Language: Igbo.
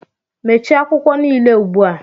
Mechie akwụkwọ niile ugbu a!